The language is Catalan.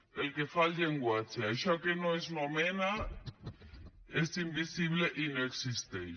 pel que fa al llenguatge el que no s’anomena és invisible i no existeix